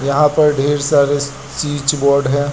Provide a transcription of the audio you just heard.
यहां पर ढ़ेर सारे स्विच बोर्ड है।